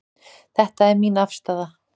Þetta er mín afstaða.